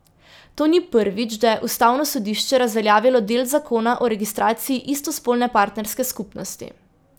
To ni prvič, da je ustavno sodišče razveljavilo del zakona o registraciji istospolne partnerske skupnosti.